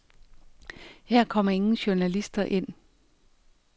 Her kommer ingen journalister ind.